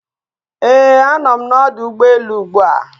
Ee, a nọ m n'ọdụ ụgbọ elu ugbua.